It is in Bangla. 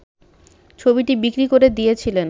ছবিটি বিক্রি করে দিয়েছিলেন